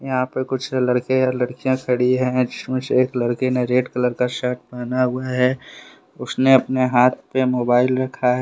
यहां पर कुछ लड़के लड़कियां खड़ी है जिसमें से एक लड़के ने रेड कलर का शर्ट पहना हुआ है उसने अपने हाथ पे मोबाइल रखा है।